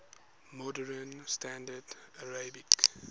modern standard arabic